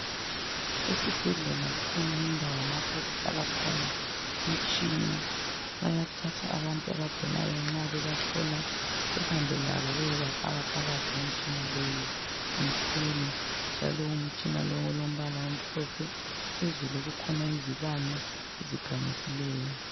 Esibhedlela kukhona indawo lapho okuhlala khona imitshina, bayathatha abantu abagulayo nxa bebahlola behambelabo bayebafaka phakathi kwemitshina leyi ,imkhulu njalo umtshina lowu olombala omhlophe phezulu kukhona izibane ezikhanyisileyo.